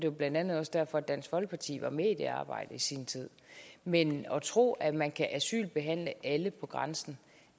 jo blandt andet også derfor at dansk folkeparti var med i det arbejde i sin tid men at tro at man kan asylbehandle alle på grænsen